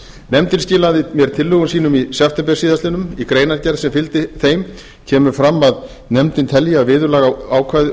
nefndin skilaði mér tillögum sínum í september síðastliðinn í greinargerð sem fylgdi þeim kemur fram að nefndin telji að að